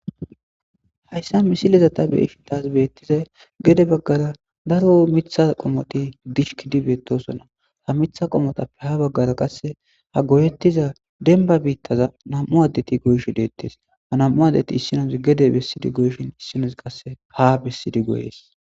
Haysa misileza ta beyishin taas beetizay, gede bagara daro mitha qommoti disjkidi beetosona ha mitha qommotappe ha bagara qase ha goyeyoza demba bittaza nam'u addeti goyishe deetes.